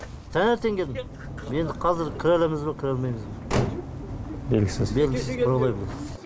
таңертең келдім енді қазір кіре аламыз ба кіре алмаймыз ба белгісіз белгісіз кіре алмаймыз